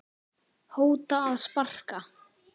hóta að sparka